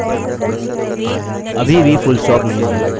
अभी भी पूर्णविराम नहीं है मुझे नहीं पता क्यों